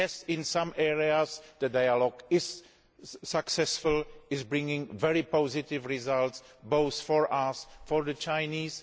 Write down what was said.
In some areas the dialogue is successful, and is bringing very positive results both for us and for the Chinese.